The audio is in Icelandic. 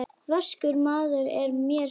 Vaskur maður er mér sagt.